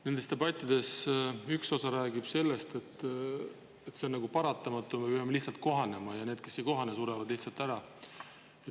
Nendes debattides on rääkinud üks osapool sellest, et on paratamatus ja me peame nendega lihtsalt kohanema, ning need, kes ei kohane, surevad lihtsalt ära.